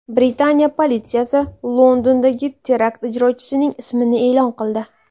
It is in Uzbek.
Britaniya politsiyasi Londondagi terakt ijrochisining ismini e’lon qildi.